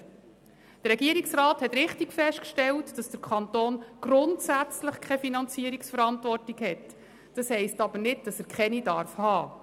Der Regierungsrat hat richtig festgestellt, dass der Kanton grundsätzlich keine Finanzierungsverantwortung hat, was aber nicht heisst, dass er keine haben darf.